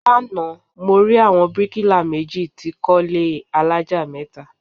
Lánàá, mo rí àwọn bíríkílà méjì tí kọ ilé alájà mẹ́ta